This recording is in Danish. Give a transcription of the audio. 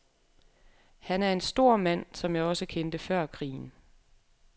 Han er en stor mand, som jeg også kendte før krigen.